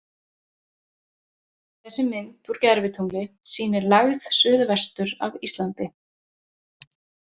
Þessi mynd úr gervitungli sýnir lægð suð-vestur af Íslandi.